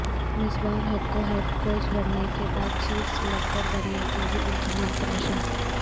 مصباح الحق کے head coach بننے کے بعد چیف سلیکٹر بننے کے بھی امکانات روشن